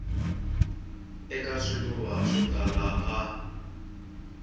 eka swivulwa swo tala a